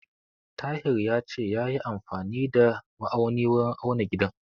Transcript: Tahir ya ce yayi amfani da ma'auni wurin auna gidan.